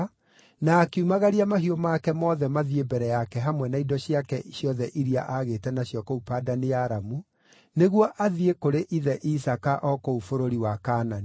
na akiumagaria mahiũ make mothe mathiĩ mbere yake hamwe na indo ciake ciothe iria aagĩte nacio kũu Padani-Aramu, nĩguo athiĩ kũrĩ ithe Isaaka o kũu bũrũri wa Kaanani.